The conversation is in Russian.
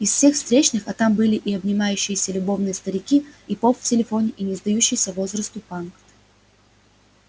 из всех встречных а там были и обнимающиеся любовно старики и поп в телефоне и не сдающийся возрасту панк